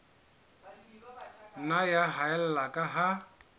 nna ya haella ka ha